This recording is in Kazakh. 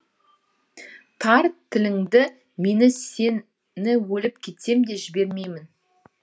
тарт тіліңді мен сені өліп кетсем де жібермеймін